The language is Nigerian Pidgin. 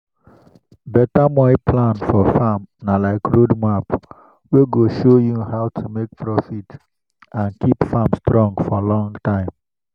beta moi plan for farm na like road map wey go show you how to make profit and keep farm strong for long time.